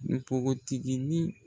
Npogotiginin